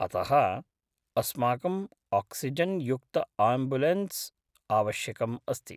अतः, अस्माकं आक्सिजेन् युक्त आम्बुलेन्स् आवश्यकम् अस्ति।